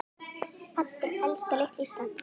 Allir elska litla Ísland.